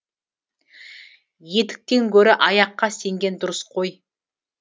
етіктен көрі аяққа сенген дұрыс қой